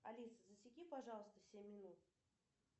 алиса засеки пожалуйста семь минут